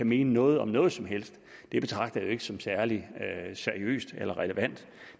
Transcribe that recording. mene noget om noget som helst det betragter jeg ikke som særlig seriøst eller relevant